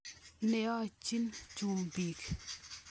Neoechin chumbik.